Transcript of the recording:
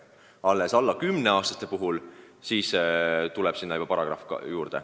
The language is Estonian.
Vaid alla 10-aastaste puhul tuleb mängu paragrahv.